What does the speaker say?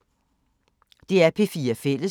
DR P4 Fælles